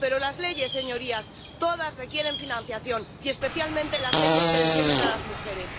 Pero todas las leyes, señorías, requieren financiación, y especialmente las leyes que defienden a las mujeres.